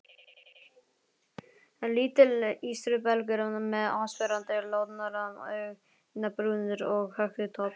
Lítill ístrubelgur með áberandi loðnar augnabrúnir og hökutopp.